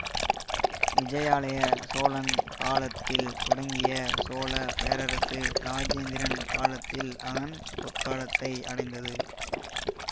விஜயாலய சோழன் காலத்தில் தொடங்கிய சோழ பேரரசு இராஜேந்திரன் காலத்தில் அதன் பொற்காலத்தை அடைந்தது